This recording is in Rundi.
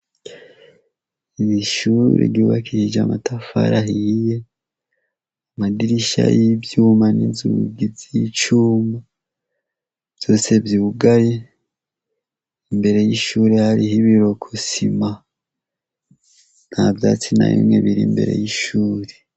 Ni ishuri ryubakishije amatafari ahiye amadirisha y' icuma inzugi z' icuma vyose vyugaye imbere y' ishuri hariho ibirokosima nta vyatsi na biri imbere y' ishuri.